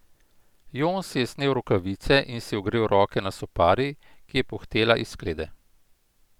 Jon si je snel rokavice in si ogrel roke na sopari, ki je puhtela iz sklede.